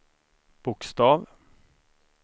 bokstav